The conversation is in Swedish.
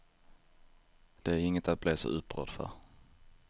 Det är inget att bli så upprörd för.